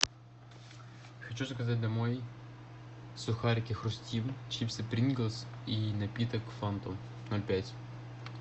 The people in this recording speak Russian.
хочу заказать домой сухарики хрустим чипсы приглс и напиток фанту ноль пять